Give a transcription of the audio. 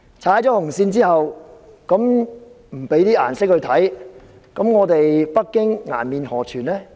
如果不給他一點顏色看看，北京顏面何存？